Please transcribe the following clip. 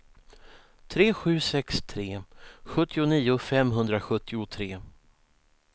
tre sju sex tre sjuttionio femhundrasjuttiotre